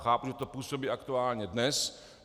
Chápu, že to působí aktuálně dnes.